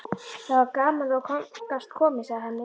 Það var gaman að þú gast komið, segir Hemmi.